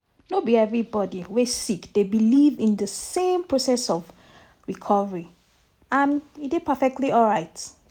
no be everybody wey sick dey believe in di same process of recovery and e dey perfectly alright.